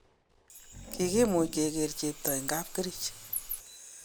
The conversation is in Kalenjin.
Kokimuch keger chepto eng kapkerich